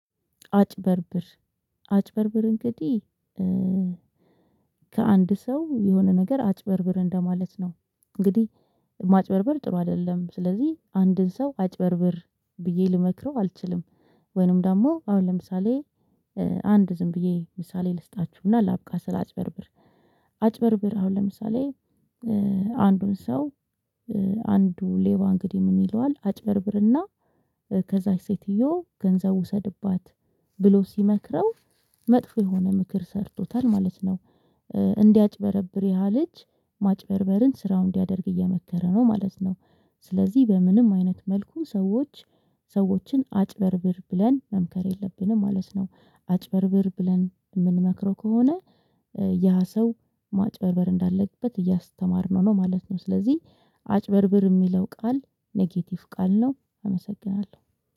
አጭበርብር አጭበርብር እንግዲህ ከአንድ ሰው የሆነ ነገር አጭበርብር እንደማለት ነው። እንግዲህ ማጭበርበር ጥሩ አይደለም ስለዚህ አንድን ሰው አጭበርብር ብዬ ልመክረው አልችልም። ወይንም ደግሞ አሁን ለምሳሌ አንድ ዝም ብዬ ምሳሌ ልስጣችሁና ላብቃ ስላጭበርብር። አጭበርብር አሁን ለምሳሌ አንዱን ሰው አንዱ ሌባ እንግዲህ ምን ይለዋል አጭበርብርና ከዛች ሴትዮ ገንዘብ ውሰድባት ብሎ ሲመክረው መጥፎ የሆነ ምክር ሰርቶታል ማለት ነው። እንዲያጭበረብር ያ ልጅ ማጭበርበርን ስራው እንዲያደርግ እየመከረው ነው ማለት ነው። ስለዚህ በምንም አይነት መልኩ ሰዎች ሰዎችን አጭበርብር ብለን መምከር የለብንም ማለት ነው አጭበርብር ብለን የምንመክረው ከሆነ ያ ሰው ማጭበርበር እንዳለበት እያስተማርነው ነው ማለት ነው። ስለዚህ አጭበርብር የሚለው ቃል ኔጌቲቭ ቃል ነው አመሰግናለሁ።